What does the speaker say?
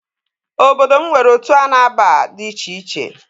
Obodo m nwere otu a na-aba di icheiche